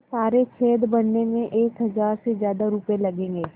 तो सारे छेद भरने में एक हज़ार से ज़्यादा रुपये लगेंगे